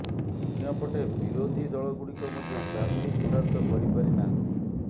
ଅନ୍ୟପଟେ ବିରୋଧୀ ଦଳଗୁଡିକ ମଧ୍ୟ ପ୍ରାର୍ଥୀ ଚୂଡାନ୍ତ କରିପାରି ନାହାନ୍ତି